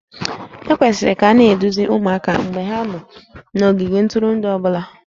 E kwesịrị ka a na-eduzi ụmụaka mgbe ha nọ n'ogige ntụrụndụ ọ bụla